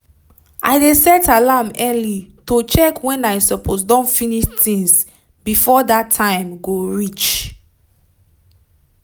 i dey set alarm early to check wen i suppose don finish tinz before dat time go reach